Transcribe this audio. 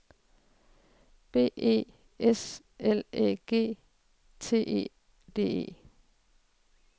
B E S L Æ G T E D E